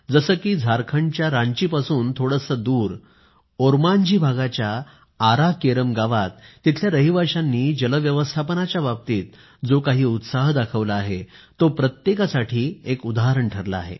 जसे की झारखंडच्या रांचीपासून थोडेसे दूर ओरमांझी भागाच्या आरा केरम गावात तिथल्या रहिवाशांनी जल व्यवस्थापनाच्या बाबतीत जो काही उत्साह दाखवला आहे तो प्रत्येकासाठी एक उदाहरण ठरला आहे